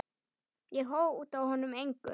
Ég hóta honum engu.